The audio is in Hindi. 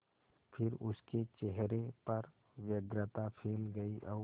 फिर उसके चेहरे पर व्यग्रता फैल गई और